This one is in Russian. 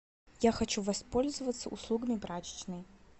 я хочу воспользоваться услугами прачечной